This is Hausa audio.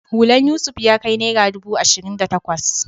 Hulan Yusuf ya kai naira ɗubu ashirin da takwas